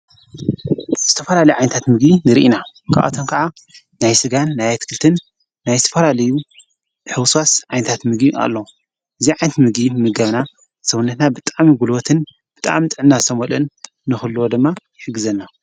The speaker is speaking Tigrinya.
ዝተፈላልዩ ዓይንታት ምጊ ንርኢና ክኣቶን ከዓ ናይ ሥጋን ናይ ኣትክልትን ናይ ስፋላልዩ ሕውሳስ ዓይንታት ምጊ ኣሎ እዚይ ዓይንቲ ምጊ ምገብና ሠውንሕና ብጣም ይጕሉወትን ብጣኣም ጥናሰመልን ንዂልዎ ደማ ይሕግዘናይሕግዘና።